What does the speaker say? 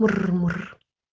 мур-мур